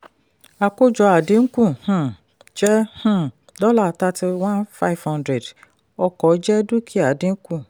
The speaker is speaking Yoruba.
àkójọ àdínkù um jẹ́ um dollar thirty-one five hundred ọkọ̀ jẹ́ dúkìá dínkù.